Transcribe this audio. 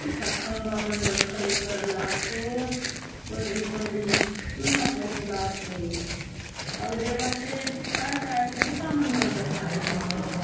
इता खम्बा मन बले खड़े करला सोत पड़री-पड़री चुना पोतला सोतआउर ए बाटे काय काय बुटा मन बी दखा दयेसी।